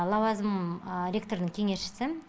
лауазымым ректордың кеңесшісімін